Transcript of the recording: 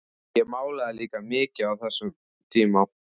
Ég málaði líka mikið á þessum tíma.